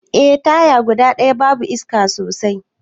Eh, taya guda daya babu iska sosai.